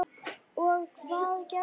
Og hvað gerði ég?